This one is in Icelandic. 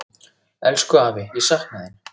Elsku afi, ég sakna þín.